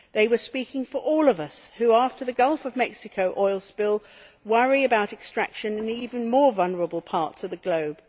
They were speaking for all of us who, after the Gulf of Mexico oil spill, worry about extraction in even more vulnerable parts of the globe.